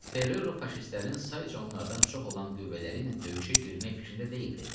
Ferrero faşistlərin sayca onlardan çox olan qüvvələri ilə döyüşə girmək fikrində deyildi.